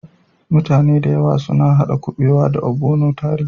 Muta ne da yawa suna hada kubewa da" ogbono" tare.